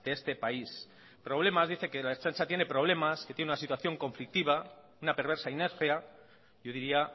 de este país dice que la ertzaintza tiene problemas que tiene una situación conflictiva una perversa inercia yo diría